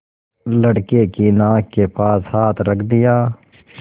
लड़के की नाक के पास हाथ रख दिया